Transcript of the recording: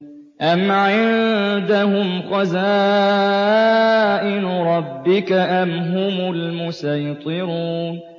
أَمْ عِندَهُمْ خَزَائِنُ رَبِّكَ أَمْ هُمُ الْمُصَيْطِرُونَ